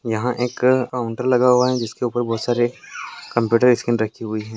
यहां एक काउंटर लगा हुआ है जिसके ऊपर बहुत सारे कंप्यूटर स्क्रीन रखी हुई है।